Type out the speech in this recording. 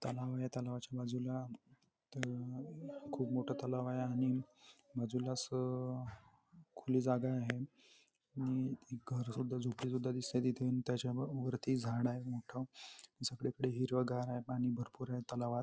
तलाव आहे. तलावाच्या बाजूला त खूप मोठ तलाव आहे आणि बाजूलाच खुली जागा आहे आणि एक घर सुद्धा झोपडी सुद्धा दिसते तिथे. आणि त्याच्या वरती झाड आहे मोठ सगळीकडे हिरवगार आहे पाणी भरपूर आहे तलावात.